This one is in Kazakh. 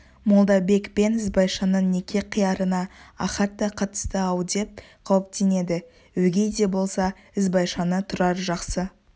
молдабек пен ізбайшаның неке қиярына ахат та қатысты-ау деп қауіптенеді өгей де болса ізбайшаны тұрар жақсы